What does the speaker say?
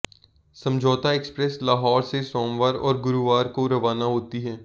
समझौता एक्सप्रेस लाहौर से सोमवार और गुरुवार को रवाना होती है